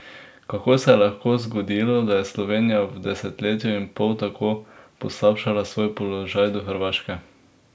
Kako se je lahko zgodilo, da je Slovenija v desetletju in pol tako poslabšala svoj položaj do Hrvaške?